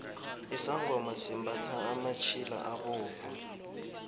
isangoma simbathha amatjhila abovu